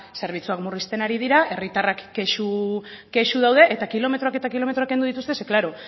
zerbitzuak murrizten ari dira herritarrak kexu daude eta kilometroak eta kilometroak kendu dituzte zeren eta